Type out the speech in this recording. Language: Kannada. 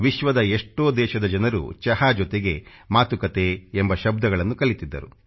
ವಿಶ್ವದ ಎಷ್ಟೋ ದೇಶದ ಜನರು ಚಹಾ ಜೊತೆಗೆ ಮಾತುಕತೆ ಎಂಬ ಶಬ್ದಗಳನ್ನು ಕಲಿತಿದ್ದರು